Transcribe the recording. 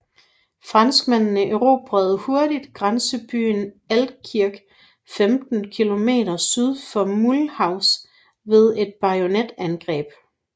Franskmændene erobrede hurtigt grænsebyen Altkirch 15 km syd for Mulhouse ved et bajonetangreb